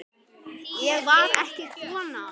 Ég var ekki kona!